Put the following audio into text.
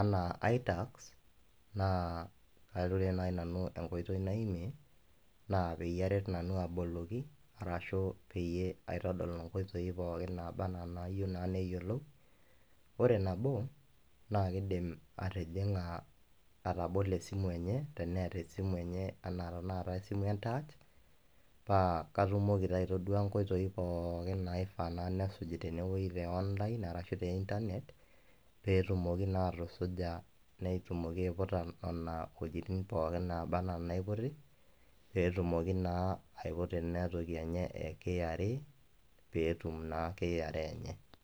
anaa iTax anaa ore naji nanu enkoitoi naimie naa peyie aret nanu aboloki arashu peyie aitadol nena oitoi pooki nayiou naa neyioulou. Ore nabo naa ekeidim atijing'a atabolo esimu enye teneatai esimu enye anaa tenakata esimu entach, paa atumoki taa aitodua inkoitoi pooki naifaa naa nesuj tenewueji e online ashu te internet pee etumoki naa atusuja pee etumoki naa atusuja inwuetin naa pookin naiputi, pee etumoki naa aiputa ena toki enye e KRA pee etum naa KRA enye.